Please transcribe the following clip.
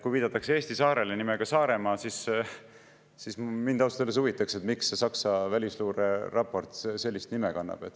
Kui viidatakse Eesti saarele nimega Saaremaa, siis mind ausalt öeldes huvitab, miks see Saksa välisluureraport sellist nime kannab.